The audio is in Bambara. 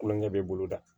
Kulonkɛ bɛ boloda